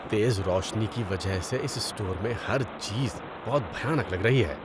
تیز روشنی کی وجہ سے اس اسٹور میں ہر چیز بہت بھیانک لگ رہی ہے۔